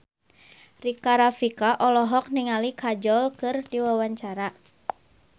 Rika Rafika olohok ningali Kajol keur diwawancara